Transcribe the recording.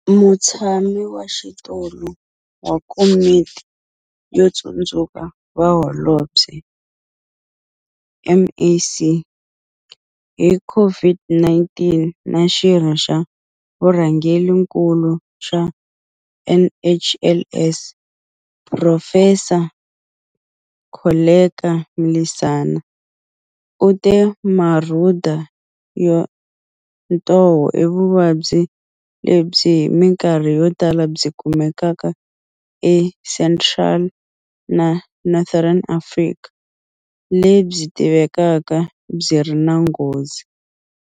Mutshami wa xitulu wa Komiti yo Tsundzuxa Vaholobye, MAC, hi COVID-19 na xirho xa Vurhangerinkulu xa NHLS, Phurofesa Koleka Mlisana, u te Marhuda ya ntoho i vuvabyi lebyi hi mikarhi yotala byi kumekaka eCentral na Northern Africa lebyi tivekaka byi nga ri na nghozi.